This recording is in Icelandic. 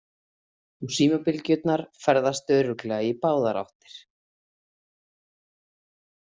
Og símabylgjurnar ferðast örugglega í báðar áttir.